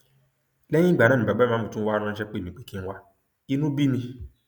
lẹyìn ìgbà yẹn ni bàbá ìmáàmù tún wáá ránṣẹ pè mí pé kí n wá inú bí mi